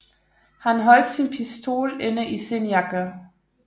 Han holdt sin pistol inde i sin jakke